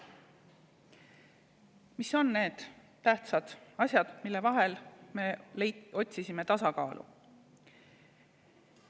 Mis on need tähtsad asjad, mille vahel me otsisime tasakaalu?